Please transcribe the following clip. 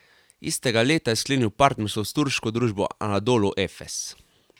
Istega leta je sklenil partnerstvo s turško družbo Anadolu Efes.